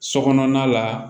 So kɔnɔna la